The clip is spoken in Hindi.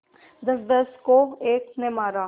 दसदस को एक ने मारा